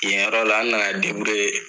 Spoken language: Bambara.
Yenyɔrɔ la n nana debouriye